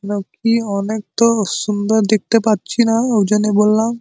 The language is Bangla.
কেন কি অনেক তো সুন্দর দেখতে পাচ্ছি না ঐজন্য বললাম।